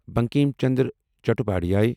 Bankim Chandra Chattopadhyay